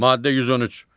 Maddə 113.